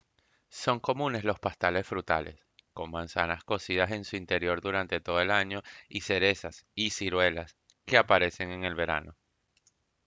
son comunes los pasteles frutales con manzanas cocidas en su interior durante todo el año y cerezas y ciruelas que aparecen en el verano